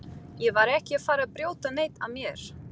Ég var ekki að fara að brjóta neitt af mér.